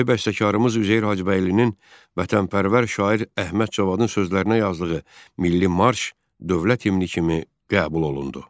Böyük bəstəkarımız Üzeyir Hacıbəylinin vətənpərvər şair Əhməd Cavadın sözlərinə yazdığı milli marş dövlət himni kimi qəbul olundu.